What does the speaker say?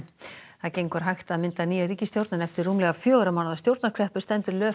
það gengur hægt að mynda nýja ríkisstjórn en eftir rúmlega fjögurra mánaða stjórnarkreppu stendur